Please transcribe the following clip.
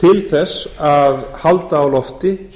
þess að halda á lofti